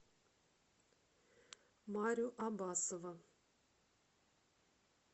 марю абасова